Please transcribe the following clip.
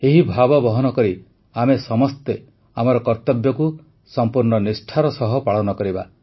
ଏହି ଭାବ ବହନ କରି ଆମେ ସମସ୍ତେ ଆମର କର୍ତବ୍ୟକୁ ସମ୍ପୂର୍ଣ୍ଣ ନିଷ୍ଠାର ସହ ପାଳନ କରିବା